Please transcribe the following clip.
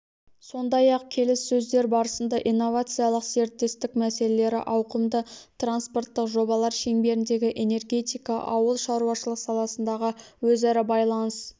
сондай-ақ келіссөздер барысында инновациялық серіктестік мәселелері ауқымды транспорттық жобалар шеңберіндегі энергетика ауыл шаруашылық саласындағы өзара байланыс